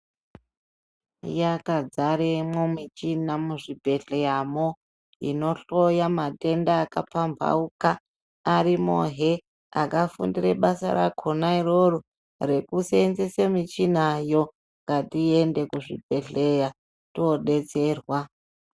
Yakazaremo michina muzvibhedhleramo inohloya matenda akapambauka. Arimohe akafundire basa rakona iroro rekuseenzese michinayo. Ngatiyende kuzvibhedhleya tinodetserwa.